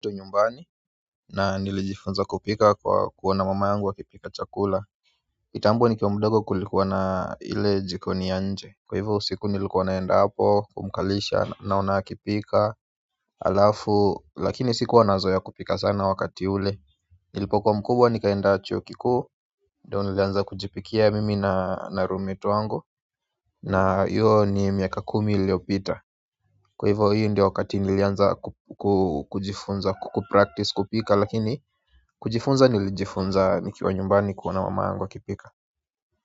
Nyumbani, na nilijifunza kupika kwa kuona mama yangu akipika chakula kitambo nikiwa mdogo kulikuwa na ile jikoni ya nje. Kwa hivyo usiku nilikuwa naenda hapo kumkalisha naona akipika halafu, lakini sikuwa nazoea kupika sana wakati ule nilipokuwa mkubwa nikaenda chuo kikuu, ndio nilianza kujipikia mimi na roommate wangu na hiyo ni miaka kumi iliyopita. Kwa hivyo hiyo ndio wakati nilianza kujifunza kupractice kupika lakini, kujifunza nilijifunza nikiwa nyumbani kuona mama yangu akipika.